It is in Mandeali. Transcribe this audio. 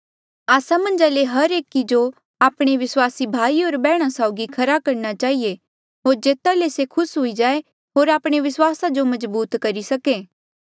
आस्सा मन्झा ले हर एक जो आपणे विस्वासी भाई होर बैहणा साउगी खरा करणा चहिए होर जेता ले से खुस हुई जाये होर आपणे विस्वास जो मजबूत करी सके